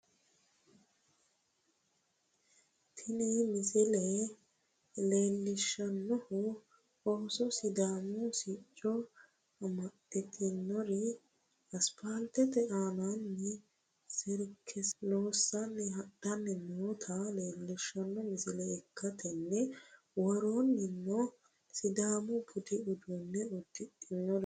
Tini misile leellishshannohu Ooso sidaamu sicco amaddinori asipaaltete aananni serkese loossanni hadhanni noota leellishshanno misile ikkitanna, worroonnino sidaamu budi uddano uddidhinoreeti.